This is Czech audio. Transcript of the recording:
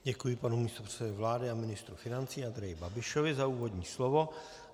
Děkuji panu místopředsedovi vlády a ministru financí Andreji Babišovi za úvodní slovo.